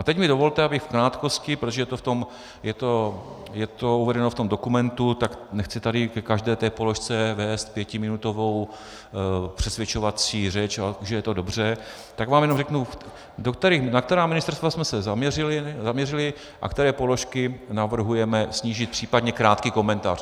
A teď mi dovolte, abych v krátkosti, protože je to uvedeno v tom dokumentu, tak nechci tady ke každé té položce vést pětiminutovou přesvědčovací řeč, že je to dobře, tak vám jenom řeknu, na která ministerstva jsme se zaměřili a které položky navrhujeme snížit případně krátký komentář.